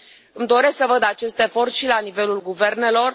Îmi doresc să văd acest efort și la nivelul guvernelor.